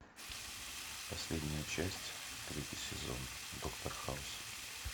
последняя часть третий сезон доктор хаус